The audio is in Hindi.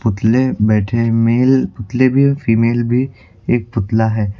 पुतले बैठे हुए हैं मेल पुतले भी फीमेल भी एक पुतला है।